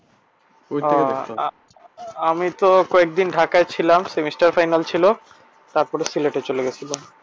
আমি তো কয়দিন ঢাকায় ছিলাম semester final ছিল তারপরে সিলেটে চলে গেছিলাম।